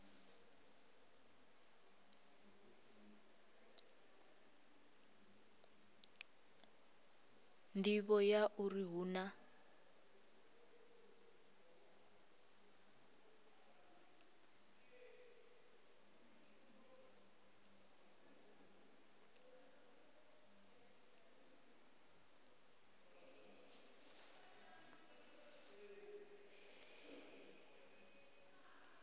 nḓivho ya uri hu na